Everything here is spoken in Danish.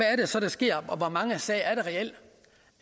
er det så der sker og i hvor mange sager